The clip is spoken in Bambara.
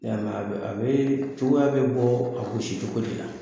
a a bɛ cogoya bɛ bɔ a gosi cogo de la.